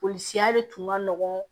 Polisiya de tun ka nɔgɔn